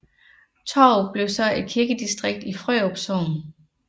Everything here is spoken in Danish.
Tårup blev så et kirkedistrikt i Frørup Sogn